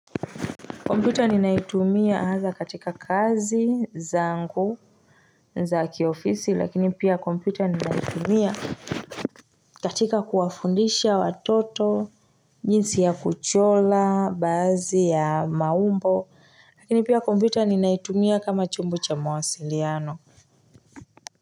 Kompyuta ninaitumia hasa katika kazi zangu za kiofisi lakini pia kompyuta ninaitumia katika kuwafundisha watoto jinsi ya kuchora baadhi ya maumbo lakini pia kompyuta ninaitumia kama chombo cha mawasiliano.